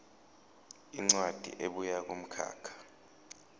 incwadi ebuya kumkhakha